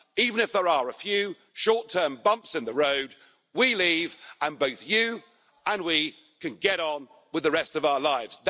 Even if there are a few short term bumps in the road, we leave and both you and we can get on with the rest of our lives.